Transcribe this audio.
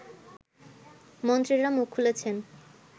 মন্ত্রীরা মুখ খুলেছেন